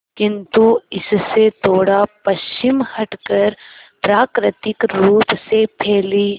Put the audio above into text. किंतु इससे थोड़ा पश्चिम हटकर प्राकृतिक रूप से फैली